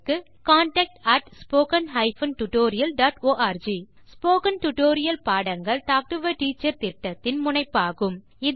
contact at spoken hyphen tutorial dot org spoken tutorial பாடங்கள் talk to a teacher திட்டத்தின் முனைப்பாகும்